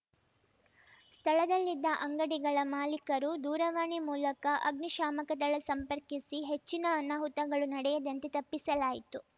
ಸ್ಥಳದಲ್ಲಿದ್ದ ಅಂಗಡಿಗಳ ಮಾಲೀಕರು ದೂರವಾಣಿ ಮೂಲಕ ಅಗ್ನಿಶಾಮಕದಳ ಸಂಪರ್ಕಿಸಿ ಹೆಚ್ಚಿನ ಅನಾಹುತಗಳು ನಡೆಯದಂತೆ ತಪ್ಪಿಸಲಾಯಿತು